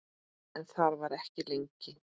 En þar var ekki lengi.